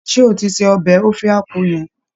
Ṣé o ti se ọbẹ̀ Ofe Akwu yẹn?